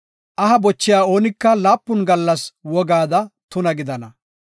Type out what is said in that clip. “Aha bochiya oonika laapun gallas wogaada tuna gidana.